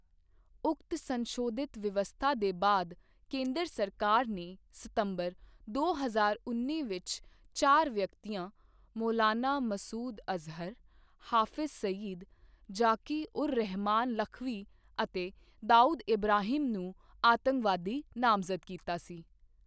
ਉਕਤ ਸੰਸ਼ੋਧਿਤ ਵਿਵਸਥਾ ਦੇ ਬਾਅਦ, ਕੇਂਦਰ ਸਰਕਾਰ ਨੇ ਸਤੰਬਰ ਦੋ ਹਜ਼ਾਰ ਉੱਨੀ ਵਿੱਚ ਚਾਰ ਵਿਅਕਤੀਆਂ ਮੌਲਾਨਾ ਮਸੂਦ ਅਜ਼ਹਰ, ਹਾਫਿਜ਼ ਸਈਦ, ਜ਼ਾਕਿ ਉਰ ਰਹਮਾਨ ਲਖਵੀ ਅਤੇ ਦਾਊਦ ਇਬ੍ਰਾਹਿਮ ਨੂੰ ਆਤੰਕਵਾਦੀ ਨਾਮਜ਼ਦ ਕੀਤਾ ਸੀ।